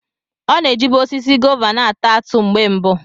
Ọ na-ejibu osisi gová na-ata atụ mgbe mbụ.